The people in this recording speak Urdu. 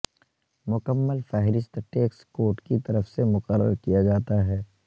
مکمل فہرست ٹیکس کوڈ کی طرف سے مقرر کیا جاتا ہے